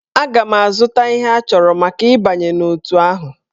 Aga m azụta ihe achọrọ maka ịbanye n'otù ahụ.